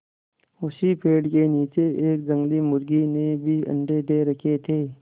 उसी पेड़ के नीचे एक जंगली मुर्गी ने भी अंडे दे रखें थे